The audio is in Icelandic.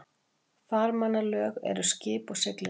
Farmannalög eru um skip og siglingar.